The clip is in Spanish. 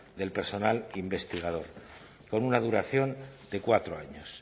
del personal investigador con una duración de cuatro años